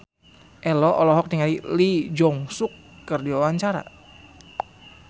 Ello olohok ningali Lee Jeong Suk keur diwawancara